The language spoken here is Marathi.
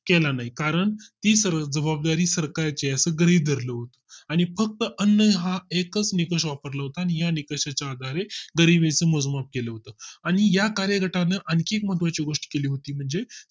केला नाही कारण ही सर्व जबाबदारी सरकार ची असे गृहीत धरले आणि फक्त अं हा एकच निकष वापरला होता आणि या निकषाच्या आधारे गरिबी तून मोजमाप केलं होतं आणि या कार्यगटाने आणखी मधून ची गोष्ट केली होती म्हणजे